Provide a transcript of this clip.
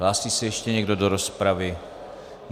Hlásí se ještě někdo do rozpravy?